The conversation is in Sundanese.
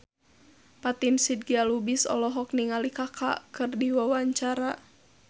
Fatin Shidqia Lubis olohok ningali Kaka keur diwawancara